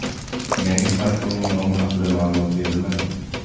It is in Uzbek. Yangi smartfonning nomi haqia ma’lumot berilmagan.